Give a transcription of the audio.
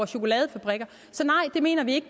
chokoladefabrikker så nej det mener vi ikke